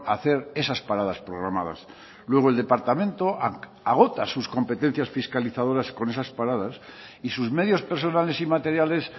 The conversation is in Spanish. a hacer esas paradas programadas luego el departamento agota sus competencias fiscalizadoras con esas paradas y sus medios personales y materiales